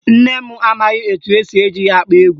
Nne m amaghị etu esi eji ya akpọ egwu